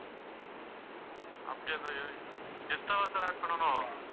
அப்படியா sirextra வா siradd பண்ணணும்